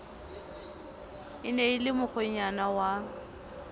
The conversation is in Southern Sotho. ne e le mokgwenyana wa